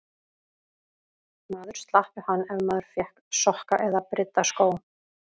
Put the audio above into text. Maður slapp við hann ef maður fékk sokka eða brydda skó.